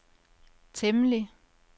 temmelig